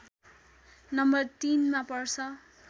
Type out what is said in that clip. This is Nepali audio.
नम्बर ३ मा पर्छ